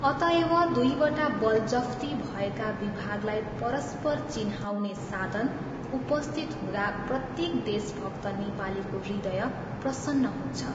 अतएव दुईवटा बलजफ्ती भएका विभागलाई परस्पर चिह्नाउने साधन उपस्थित हुँदा प्रत्येक देशभक्त नेपालीको हृदय प्रसन्न हुन्छ।